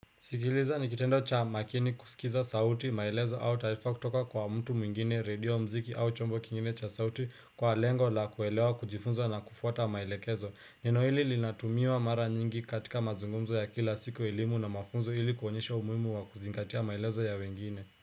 Sikiliza ni kitendo cha makini kusikiza sauti maelezo au taarifa kutoka kwa mtu mwingine redio muziki au chombo kingine cha sauti kwa lengo la kuelewa kujifunza na kufuata maelekezo neno hili linatumiwa mara nyingi katika mazungumzo ya kila siku elimu na mafunzo hili kuonyesha umuhimu wa kuzingatia maelezo ya wengine.